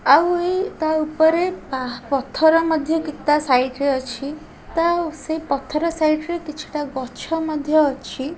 ଆଉ ଏଇ ତା ଉପରେ ପା ପଥର ମଧ୍ୟ କି ତା ସାଇଟ୍ ରେ ଅଛି ତା ଉ ସେ ପଥର ସାଇଟ୍ ରେ କିଛି ଟା ଗଛ ମଧ୍ୟ ଅଛି।